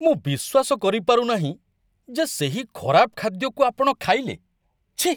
ମୁଁ ବିଶ୍ୱାସ କରିପାରୁ ନାହିଁ ଯେ ସେହି ଖରାପ ଖାଦ୍ୟକୁ ଆପଣ ଖାଇଲେ। ଛିଃ!